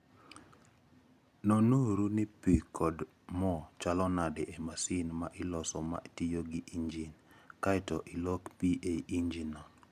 Nonuru ni pi kod mo chalo nade e masin ma iloso ma tiyo gi injin, kae to ilok pi e injinno.